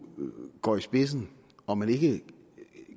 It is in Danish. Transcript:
går i spidsen om man ikke